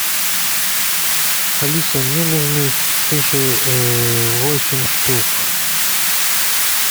алиса мне нужны суши восемь штук